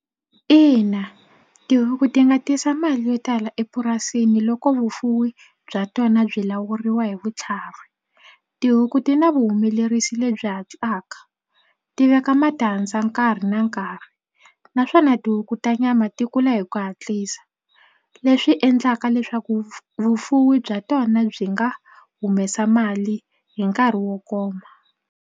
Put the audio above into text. Ina tihuku ti nga tisa mali yo tala epurasini loko vufuwi bya tona byi lawuriwa hi vutlhari. Tihuku ti na vuhumelerisi lebyi hatlaka ti veka matandza dyandza nkarhi na nkarhi naswona tihuku ta nyama ti kula hi ku hatlisa leswi endlaka leswaku vufuwi bya tona byi nga humesa mali hi nkarhi wo koma.